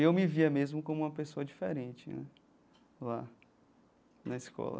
Eu me via mesmo como uma pessoa diferente né lá na escola.